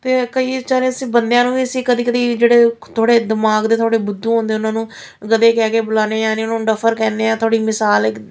ਕਈ ਵਿਚਾਰੇ ਅਸੀਂ ਬੰਦਿਆਂ ਨੂੰ ਅਸੀਂ ਕਦੀ ਕਦੀ ਜਿਹੜੇ ਥੋੜੇ ਦਿਮਾਗ ਦੇ ਥੋੜੇ ਬੁੱਧੂ ਹੁੰਦੇ ਆ ਉਹਨਾਂ ਨੂੰ ਮਤਲਬ ਇਹ ਕਹਿ ਕੇ ਬੁਲਾਨੇ ਆ ਯਾਨੀ ਉਹਨੂੰ ਡਫਰ ਕਹਿੰਦੇ ਆ ਥੋੜੀ ਮਸਾਲ --